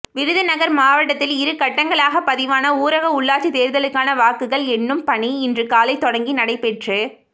விருதுநகர் மாவட்டத்தில் இரு கட்டங்களாக பதிவான ஊரக உள்ளாட்சி தேர்தலுக்கான வாக்குகள் எண்ணும் பணி இன்று காலை தொடங்கி நடைபெற்று